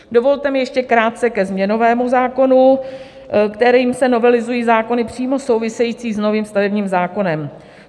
Dovolte mi ještě krátce ke změnovému zákonu, kterým se novelizují zákony přímo související s novým stavebním zákonem.